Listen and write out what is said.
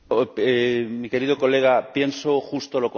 Mi querido colega, pienso justo lo contrario.